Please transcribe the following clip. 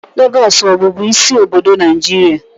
Lagos ọ bụbu isi obodo Naijiria?